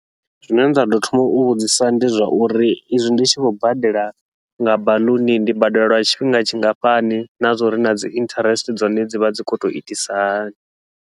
Zwine nda ḓo thoma u vhudzisa ndi zwauri, izwi ndi tshi khou badela nga baḽuni ndi badela lwa tshifhinga tshingafhani, na zwauri nadzi interest dza hone dzivha dzi khou tou itisa hani.